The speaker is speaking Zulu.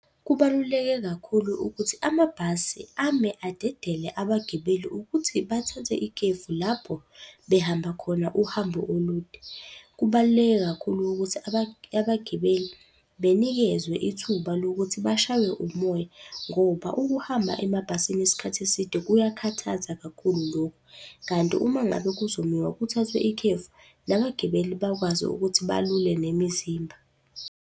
Kubaluleke kakhulu ukuthi amabhasi ame adedele abagibeli ukuthi bathathe ikhefu lapho behamba khona uhambo olude. Kubaluleke kakhulu ukuthi abagibeli benikezwe ithuba lokuthi bashaywe umoya ngoba ukuhamba emabhasini isikhathi eside kuyakhathaza kakhulu lokhu. Kanti uma ngabe kuzomiwa kuthathwe ikhefu, nabagibeli bakwazi ukuthi balule nemizimba.